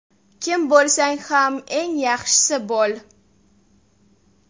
Kim bo‘lsang ham eng yaxshisi bo‘l!